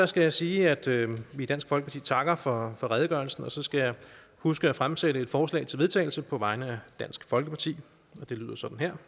skal jeg sige at vi i dansk folkeparti takker for redegørelsen og så skal jeg huske at fremsætte et forslag til vedtagelse på vegne af dansk folkeparti og det lyder sådan her